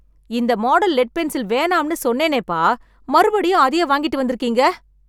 இந்த model lead pencil வேணாம்னு சொன்னேனே பா! மறுபடியும் அதையே வாங்கிட்டு வந்திருக்கீங்க!